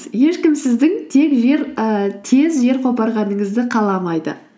ешкім сіздің тез жер қопарғаныңызды қаламайды